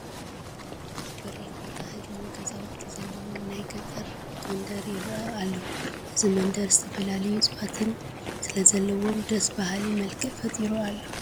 ኣብ በሪኽ ቦታ ህድሞ ገዛውቲ ዘለዉዎ ናይ ገጠር መንደር ይርአ ኣሎ፡፡ እዚ መንደር ዝተፈላለዩ እፅዋታት ስለዘለዉዎ ደስ በሃሊ መልክዕ ፈጢሩ ኣሎ፡፡